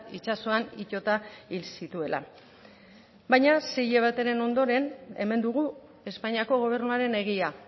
itsasoan itota hil zituela baina sei hilabeteren ondoren hemen dugu espainiako gobernuaren egia